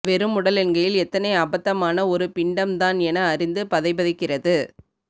வெறும் உடலென்கையில் எத்தனை அபத்தமான ஒரு பிண்டம் தான் என அறிந்து பதைபதைக்கிறது